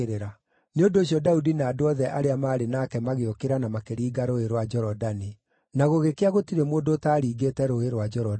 Nĩ ũndũ ũcio Daudi na andũ othe arĩa maarĩ nake magĩũkĩra na makĩringa Rũũĩ rwa Jorodani. Na gũgĩkĩa gũtirĩ mũndũ ũtaaringĩte Rũũĩ rwa Jorodani.